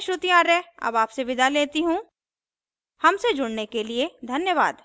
यह स्क्रिप्ट प्रभाकर द्वारा अनुवादित है मैं श्रुति आर्य अब आपसे विदा लेती हूँ हमसे जुड़ने के लिए धन्यवाद